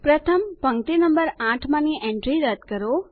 પ્રથમ પંક્તિ નંબર 8 માંની એન્ટ્રી રદ કરો